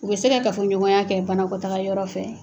U bɛ se ka ka fɔɲɔgɔnya kɛ banakotaa yɔrɔ fɛ